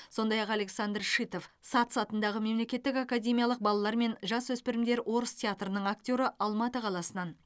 сондай ақ александр шитов сац атындағы мемлекеттік академиялық балалар мен жасөспірімдер орыс театрының актері алматы қаласынан